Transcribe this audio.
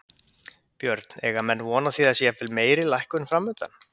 Björn, eiga menn von á því að það sé jafnvel meiri lækkun framundan?